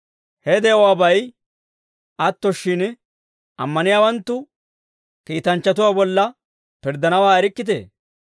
Ha de'uwaabay atto shin, ammaniyaawanttu kiitanchchatuwaa bolla pirddanawaa erikkitee?